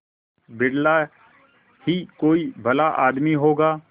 बिरला ही कोई भला आदमी होगा